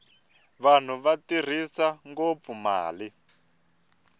vanhu va tirhisa ngopfu mali